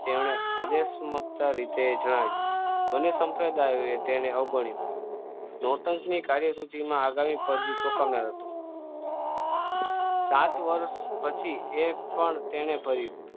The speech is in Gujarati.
તેણે આદેશ માગતા વિશે જણાવ્યું અને અનેક સંપ્રદાયો એને અવગણી નૌતાને કાર્ય સૂચિમાં આગામી જોખમનાર હતી સાત વર્ષ પછી એક પણ તેને